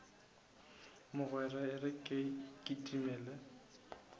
mogwera e re ke kitimele